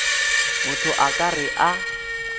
motho a ka re a